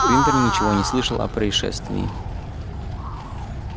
уимпер ничего не слышал о происшествии